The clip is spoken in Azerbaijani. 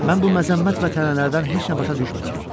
Mən bu məzəmmət və tənələrdən heç nə başa düşmürdüm.